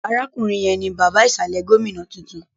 Arákùnrin yẹn ni bàbá ìsàlẹ̀ gómìnà tuntun